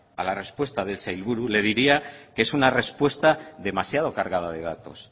a la respuesta del sailburu le diría que es una respuesta demasiado cargada de datos